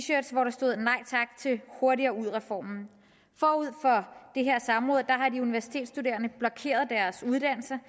shirts hvor der stod nej til hurtigere ud reformen forud for det her samråd havde de universitetsstuderende blokeret deres uddannelser